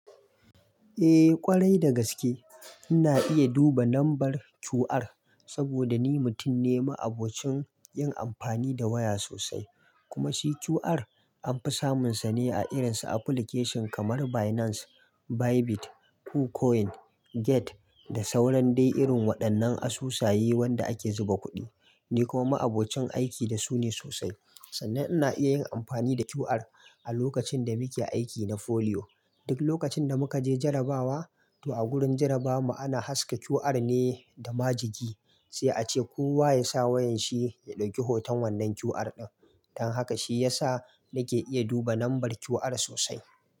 Eh ƙwarai da gaske ina iya duba lambar QR saboda ni mutum ne ma'abocin yin amfani da waya sosai kuma shi QR anfi samun sa ne a irin su application kamar Binance, Bybit, Kucoin, Get da sauran dai irin waɗannan asusaye wanda ake zuba kuɗi. Ni kuma ma'abocin aiki da su ne sosai sannan ina iya yin amfani da QR a lokacin da muke aiki na Folio. Duk lokacin da muka je jarrabawa to a gurin jarrabawa ana haska QR ne da majigi sai a ce kowa yasa wayan shi ya ɗauki hoton wannan QR ɗin. Dan haka shi yasa nake iya duba lambar QR sosai.